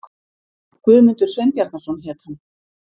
Guðmundur Sveinbjarnarson hét hann.